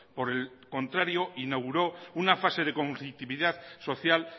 por el contrario inauguró una fase de conflictividad social